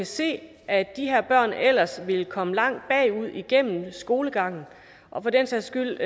se at de her børn ellers ville komme langt bagud igennem skolegangen og for den sags skyld